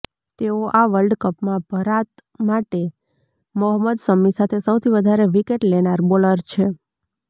તેઓ આ વર્લ્ડ કપમાં ભરાત માટે મોહમ્મદ શમી સાથે સૌથી વધારે વિકેટ લેનાર બોલર છે